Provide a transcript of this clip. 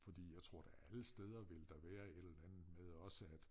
Fordi jeg tror da alle steder vil der være et eller andet med også at